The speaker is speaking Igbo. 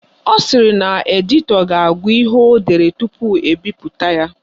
Ọ sịrị na editọ ga-agụ ihe o dere tupu ebipụta ya